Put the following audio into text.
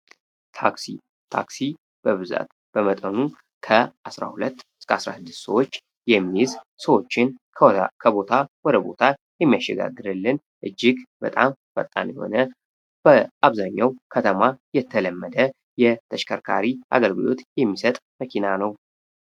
ታክሲ ታክሲ በብዛት በመጠኑም ከ12-19ዎችን ከቦታ ወደ ቦታ የሚሸጋገሪልን እጅግ በጣም የሆነ አብዛኛው ከተማ የተለመደ የተሽከርካሪ አገልግሎት የሚሰጥ መኪና ነው